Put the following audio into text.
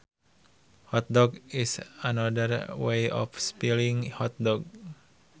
Hotdog is another way of spelling hot dog